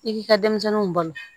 I k'i ka denmisɛnninw balo